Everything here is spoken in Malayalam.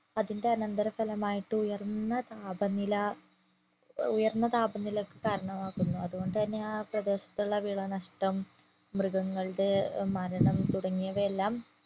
അതിന്റെ അനന്തര ഫലമായിട്ടുയർന്ന താപനില ഉയർന്ന താപ നിലയ്ക്ക് കാരണമാകുന്നു അതുകൊണ്ട് തന്നെ ആ പ്രദേശത്തുള്ള വില നഷ്ട്ടം മൃഗങ്ങളുടെ മരണം തുടങ്ങിയവ എല്ലാം